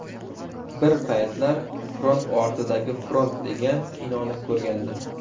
Bir paytlar ‘Front ortidagi front’ degan kinoni ko‘rgandim.